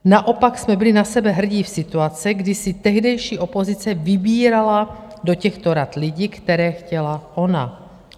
Naopak jsme byli na sebe hrdí v situaci, kdy si tehdejší opozice vybírala do těchto rad lidi, které chtěla ona.